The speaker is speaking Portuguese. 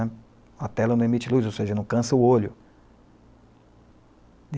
né. A tela não emite luz, ou seja, não cansa o olho.